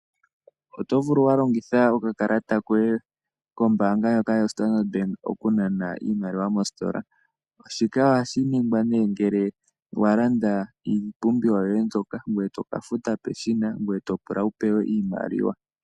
Oto vulu oku longitha okakalata koye kombaanga ndjoka yo Standard Bank oku nana iimaliwa mositola. Shika ohashi ningwa nee ngele wa landa iipumbiwa yoye mbyoka, ngoye toka futa peshina ngoye to pula wu pewe iimaliwa.